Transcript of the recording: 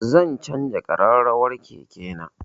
Zan canza ƙarrawar keke na